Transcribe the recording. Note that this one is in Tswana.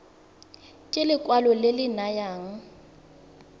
ke lekwalo le le nayang